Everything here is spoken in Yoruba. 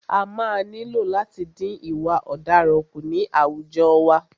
A máa nílò láti dín ìwà ọ̀daràn kù ní àwùjọ wa.